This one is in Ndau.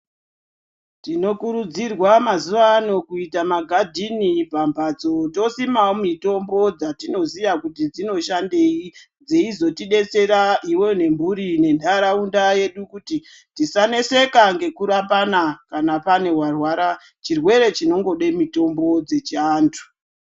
Tinokurudzirwa mazuva ano kuita magadhini pambatso tosimawo mitombo dzatinoziya kuti dzinoshandei dzeizotidetsera iwewe nemburi nentaraunda yedu kuti tisaneseka ngekurapana kana pane warwara chirwere chinongode mutombo dzechiantu